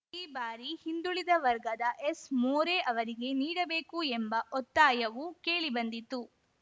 ಈ ಬಾರಿ ಹಿಂದುಳಿದ ವರ್ಗದ ಎಸ್‌ ಮೋರೆ ಅವರಿಗೆ ನೀಡಬೇಕು ಎಂಬ ಒತ್ತಾಯವೂ ಕೇಳಿ ಬಂದಿತು